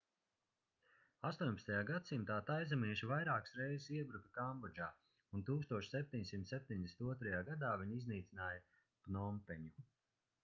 18. gadsimtā taizemieši vairākas reizes iebruka kambodžā un 1772. gadā viņi iznīcināja pnompeņu